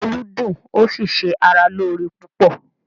“Olú” dùn ó sì se ara lóore púpọ̀.